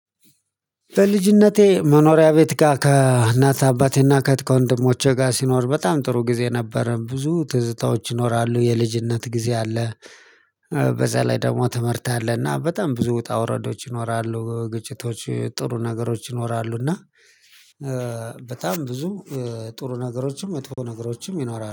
በልጅነቴ መኖሪያ ቤት ጋር ከእናት አባቴና ከህት ከወንድሞቼ ጋር ሲኖር በጣም ጥሩ ጊዜ ነበረ። ብዙ ትዝታዎች ይኖራሉ የልጅነት ጊዜ አለ በዛ ላይ ደግሞ ትምህርት አለ እና በጣም ብዙ ውጣ ውረዶች ይኖራሉ ግጭቶች ጥሩ ነገሮች ይኖራሉ፤ እና በጣም ብዙ ጥሩ ነገሮችም መጥፎ ነገሮችም ይኖራሉ።